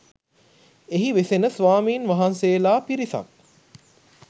එහි වෙසෙන ස්වාමින් වහන්සේලා පිරිසක්